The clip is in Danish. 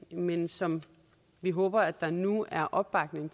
men som vi håber der nu er opbakning